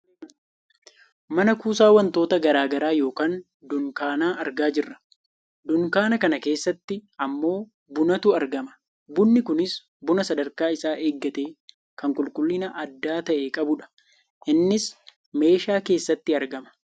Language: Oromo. Mana kuusaa wantoota gara garaa yookaan dunkaana argaa jirra. Dunkaana kana keessatti ammoo bunatu argama . Bunni kunis buna sadarkaa isaa eeggate kan qulqullina adda ta'e qabudha. Innis meeshaa keessatti aragama.